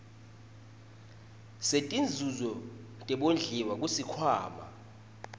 setinzuzo tebondliwa kusikhwama